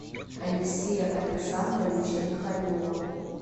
алексея александровича михалева